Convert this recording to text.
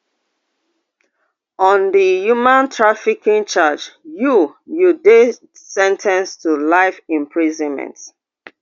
on di human trafficking charge you you dey sen ten ced to life imprisonment